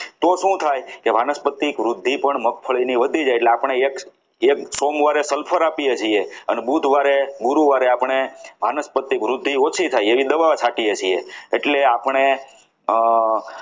તો શું થાય તે વાનસ્પતિક વૃદ્ધિ પણ મગફળી વધી જાય એટલે આપણે એક એક સોમવારે sulphur આપીએ છીએ અને બુધવારે ગુરુવારે આપણે વનસ્પતિ વૃદ્ધિ ઓછી થાય તેવી દવાઓ છાંટીએ છીએ એટલે આપણે અમ